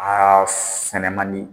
A sɛnɛ man di.